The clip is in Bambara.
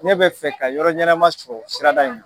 Ne bɛ fɛ ka yɔrɔ ɲanama sɔrɔ sirada in na.